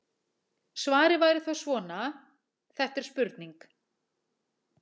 Svarið væri þá svona: Þetta er spurning.